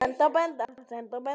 Eru þetta góðar fréttir?